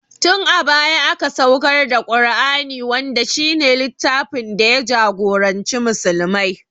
Tin a baya aka saukar da Ƙur'ani wanda shi ne littfin da ya jagoranci musulmai